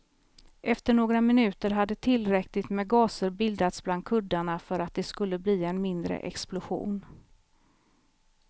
Efter några minuter hade tillräckligt med gaser bildats bland kuddarna för att det skulle bli en mindre explosion.